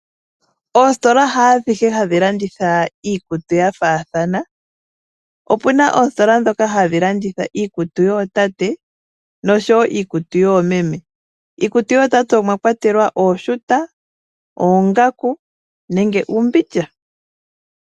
Oositola haa adhihe hadhi landitha iikutu yafathana opuna oositola dhoka hadhi landitha iikutu yootate nosho wo iikutu yoomeme, iikutu yootate omwakwtelwa ooshuta, oonagaku nenge uumbindja